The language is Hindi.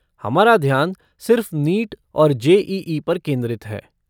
हमारा ध्यान सिर्फ़ नीट और जे.ई.ई. पर केंद्रित है।